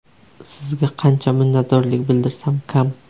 Sizga qancha minnatdorlik bildirsam kam!